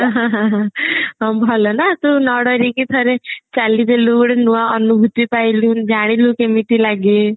ହଁ ଭଲ ନା ତୁ ନ ଡରିକି ଠାରେ ଚାଲିଦେଲୁ ଗୋଟେ ନୂଆ ଅନୁଭୂତି ପାଇଲୁ ଜାଣିଲୁ କେମିତି ଲାଗେ